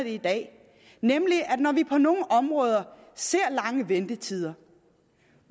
i dag og når vi på nogle områder ser lange ventetider